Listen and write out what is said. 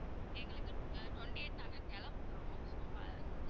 எங்களுக்கு ஆஹ் twenty eight நாங்க கிளம்புறோம் so ஆஹ்